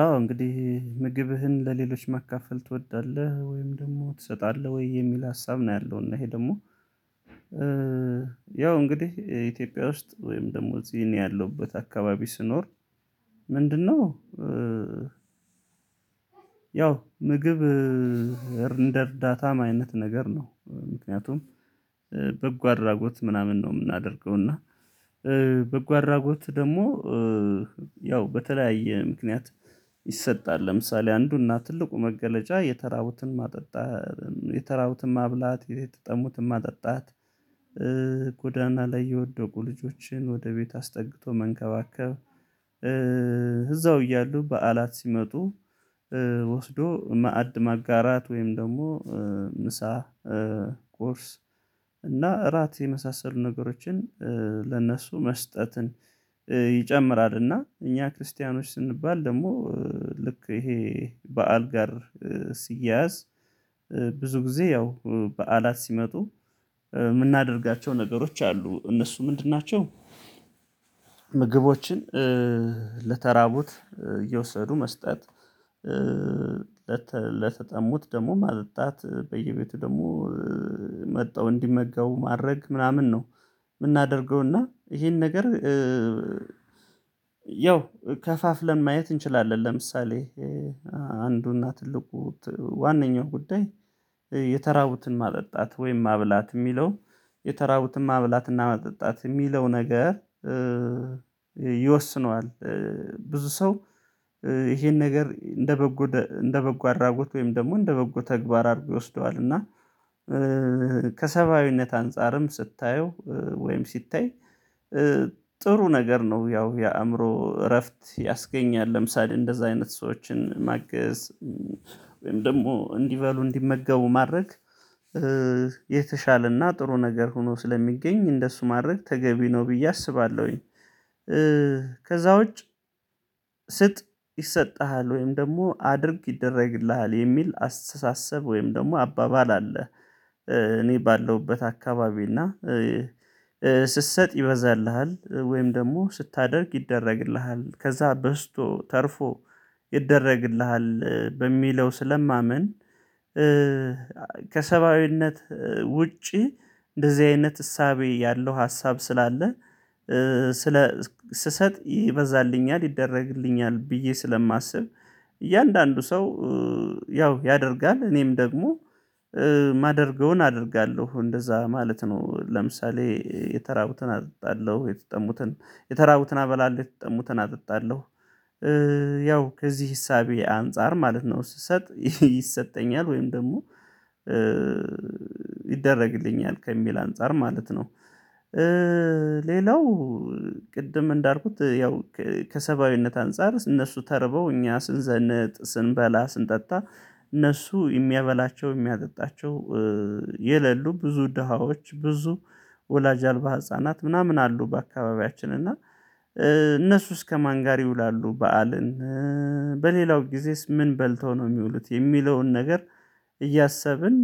አዎ እንግዲህ ምግብህን ለሌሎች መካፈል ትወዳለህ? ወይም ደግሞ ትሰጣለህ ወይ? የሚል ሀሳብ ነው ያለው እና ይሄ ደግሞ። ያው እንግዲህ ኢትዮጵያ ውስጥ ወይም ደግሞ እዚህ እኔ ያለሁበት አካባቢ ስኖር ምንድነው? ምግብ እንደ እርዳታም አይነት ነገር ነው። ምክንያቱም በጎ አድራጎት ምናምን ነው የምናደርገው። እና በጎ አድራጎት ደግሞ ያው በተለያየ ምክንያት። ይሰጣል ለምሳሌ አንዱና ትልቁ መገለጫ የተራቡትን ማጠጣት የተራቡትን ማብላት የተጠሙትን ማጠጣት። ጎዳና ላይ የወደቁ ልጆችን ወደ ቤት አስጠግቶ መንከባከብ። እዛው እያሉ በዓላት ሲመጡ። ወስዶ ማዕድ ማጋራት ወይም ደግሞ ምሳ ቁርስ እና እራት የመሳሰሉ ነገሮችን ለእነሱ መስጠትን። ይጨምራልና እኛ ክርስቲያኖች ስንባል ደግሞ ልክ ይሄ በዓል ጋር ሲያያዝ ብዙ ጊዜ ያው በዓላት ሲመጡ የምናደርጋቸው ነገሮች አሉ እነሱ ምንድን ናቸው? ምግቦችን ለተራቡት እየወሰዱ መስጠት። ለተጠሙት ደግሞ ማጠጣት በየቤቱ ደግሞ መጥተው እንዲመገቡው ማድረግ ምናምን ነው። የምናደርገው እና ይሄን ነገር ያው ከፋፍለን ማየት እንችላለን። ለምሳሌ አንዱና ትልቁ ት ዋነኛው ጉዳይ የተራቡትን ማጠጣት ወይም ማብላት የሚለው የተራቡትን ማብላትና ማጠጣት የሚለው ነገር ይወስነዋል። ብዙ ሰው ይሄን ነገር እንደ በጎ እንደ በጎ አድራጎት ወይም ደግሞ እንደ በጎ ተግባር አድርጎ ይወስደዋል። እና ከሰብአዊነት አንፃርም ስታየው ወይም ሲታይ ጥሩ ነገር ነው። ያው የአእምሮ እረፍት ያስገኛል። ለምሳሌ እንደዛ አይነት ሰዎችን ማገዝ ወይም ደግሞ እንዲበሉ እንዲመገቡ ማድረግ። የተሻለና ጥሩ ነገር ሆኖ ስለሚገኝ እንደሱ ማድረግ ተገቢ ነው ብዬ አስባለሁኝ። ከዛ ውጪ ስጥ ይሰጥሃል ወይም ደግሞ አድርግ ይደረግልሃል የሚል አስተሳሰብ ወይም ደግሞ አባባል አለ። እኔ ባለሁበት አካባቢ እና ስትሰጥ ይበዛልሃል ወይም ደግሞ ስታደርግ ይደረግልሃል ከዛ በዝቶ ተርፎ ይደረግልሃል በሚለው ስለማምን። ከሰብአዊነት ውጪ እንደዚህ አይነት እሳቤ ያለው ሀሳብ ስላለ ስለ ስሰጥ ይበዛልኛል ይደረግልኛል ብዬ ስለማስብ። እያንዳንዱ ሰው ያው ያደርጋል እኔም ደግሞ ማደርገውን አደርጋለሁ እንደዛ ማለት ነው። ለምሳሌ የተራቡትን አጠጣለሁ የተጠሙትን የተራቡትን አበላለሁ የተጠሙትን አጠጣለሁ። ያው ከዚህ እሳቤ አንፃር ማለት ነው ስሰጥ ይሰጠኛል ወይም ደግሞ ይደረግልኛል ከሚል አንፃር ማለት ነው። ሌላው ቅድም እንዳልኩት ያው ከሰብአዊነት አንፃር ስ እነሱ ተርበው እኛ ስንዘነጥ ስንበላ ስንጠጣ። እነሱ የሚያበላቸው የሚያጠጣቸው የሌሉ ብዙ ደሃዎች ብዙ ወላጅ አልባ ህፃናት ምናምን አሉ። በአካባቢያችን እና እነሱስ ከማን ጋር ይውላሉ በዓልን? በሌላው ጊዜስ ምን በልተው ነው የሚውሉት? የሚለውን ነገር እያሰብን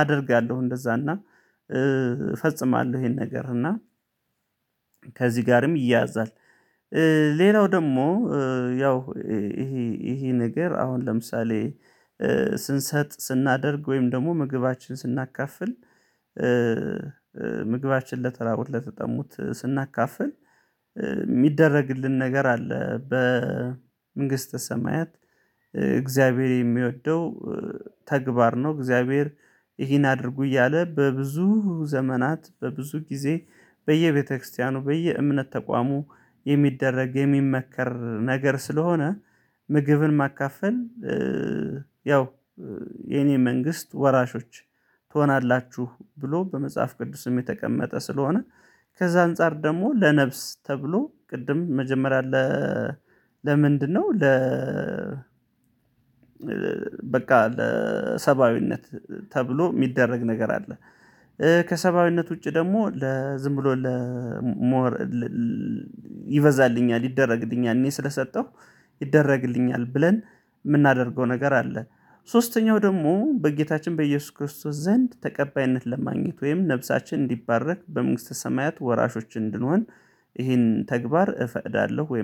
አደርጋለሁ እንደዛና እፈጽማለሁ ይሄን ነገር እና ከዚህ ጋርም ይያዛል። ሌላው ደግሞ ያው ይሄ ይሄ ነገር አሁን ለምሳሌ ስንሰጥ ስናደርግ ወይም ደግሞ ምግባችንን ስናካፍል። ምግባችን ለተራቡት ለተጠሙት ስናካፍል የሚደረግልን ነገር አለ በመንግሥተ ሰማያት እግዚአብሔር የሚወደው ተግባር ነው። እግዚአብሔር ይህን አድርጉ እያለ በብዙ ዘመናት በብዙ ጊዜ በየቤተክርስቲያኑ በየእምነት ተቋሙ የሚደረግ የሚመከር ነገር ስለሆነ። ምግብን ማካፈል። ያው የኔ መንግስት ወራሾች ትሆናላችሁ ብሎ በመጽሐፍ ቅዱስም የተቀመጠ ስለሆነ። ከዛ አንፃር ደግሞ ለነፍስ ተብሎ ቅድም መጀመሪያ ለ ለምንድነው? ለ በቃ ለሰብአዊነት ተብሎ የሚደረግ ነገር አለ። ከሰብአዊነት ውጪ ደግሞ ለ ዝም ብሎ ለ ሞር ይበዛልኛል ይደረግልኛል እኔ ስለሰጠሁ ይደረግልኛል ብለን የምናደርገው ነገር አለ። ሶስተኛው ደግሞ በጌታችን በኢየሱስ ክርስቶስ ዘንድ ተቀባይነት ለማግኘት ወይም ነፍሳችን እንዲባረክ በመንግሥተ ሰማያት ወራሾች እንድንሆን። ይሄን ተግባር እፈቅዳለሁ ወይም